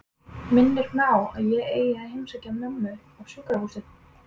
Minnir mig á að ég eigi að heimsækja mömmu á sjúkrahúsið.